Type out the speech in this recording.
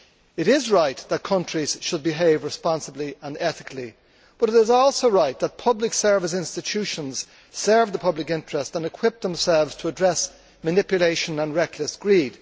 It is right that countries should behave responsibility and ethically, but it is also right that public service institutions serve the public interest and equip themselves to address manipulation and reckless greed.